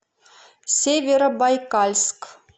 северобайкальск